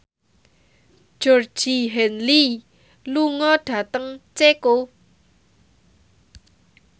Georgie Henley lunga dhateng Ceko